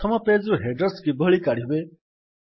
ପ୍ରଥମ ପେଜ୍ ରୁ ହେଡର୍ସ କିଭଳି କାଢ଼ିବେ